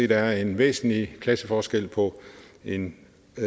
der er en væsentlig klasseforskel på en